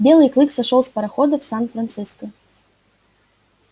белый клык сошёл с парохода в сан франциско